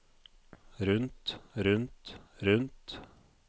rundt rundt rundt